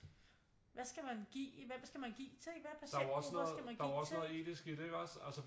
Hvad skal man give hvem skal man give til ikke hvad har patienten brug for ikke også